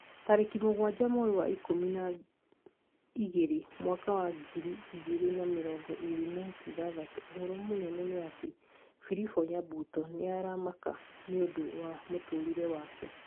Tarĩki mũgwanja mweri wa ikũmi na igĩrĩ mwaka wa ngiri igĩrĩ na mĩrongo ĩrĩ na ithathatũ ũhoro mũnene nĩ ati philip nyabuto nĩ aramaka nĩũndũ wa mũtũrĩre wake